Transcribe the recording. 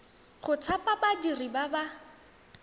go thapa badiri ba ba